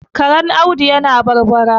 Karen Audu yana barbara